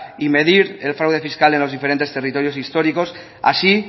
y medir el fraude fiscal en los diferentes territorios históricos así